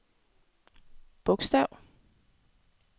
bogstav